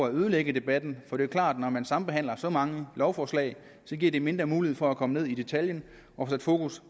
at ødelægge debatten for det er klart at når man sambehandler så mange lovforslag giver det mindre mulighed for at komme ned i detaljen og sætte fokus